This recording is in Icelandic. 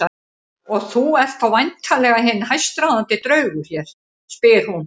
Og þú ert þá væntanlega hinn hæstráðandi draugur hér, spyr hún.